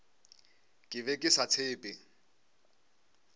ke be ke sa tshephe